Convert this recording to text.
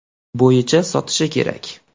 bo‘yicha sotishi kerak.